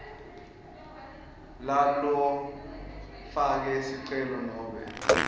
lalofake sicelo nobe